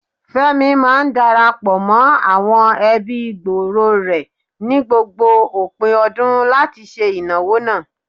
Fẹ́mi máa ń dara pọ̀ mọ́ àwọn ẹbí gbòòrò rẹ̀ ni gbogbo òpin ọdún láti ṣe ìnáwó náà.